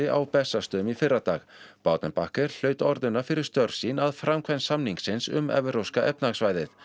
á Bessastöðum í fyrradag baudenbacher hlaut fyrir störf sín að framkvæmd samningsins um evrópska efnahagssvæðið